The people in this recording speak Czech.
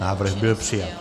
Návrh byl přijat.